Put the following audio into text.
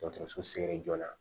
Dɔkɔtɔrɔso ye joona